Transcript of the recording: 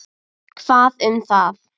Hvað um það!